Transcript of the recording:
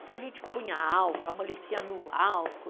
Então, a gente punha álcool, amolecia no álcool.